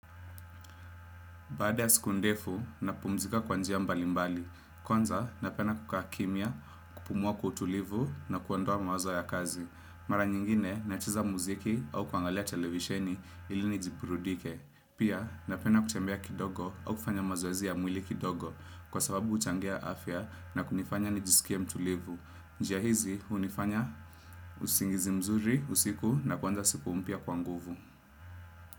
Baada ya siku ndefu, napumzika kwa njia mbalimbali. Kwanza, napenda kukaa kimya, kupumua kwa utulivu na kuondoa mawazo ya kazi. Mara nyingine, nacheza muziki au kuangalia televisheni ili nijiburudishe. Pia, napenda kutembea kidogo au kufanya mazoezi ya mwili kidogo kwa sababu huchangia afya na kunifanya nijisikie mtulivu. Njia hizi, hunifanya usingizi mzuri, usiku nakuanza siku mpya kwa nguvu.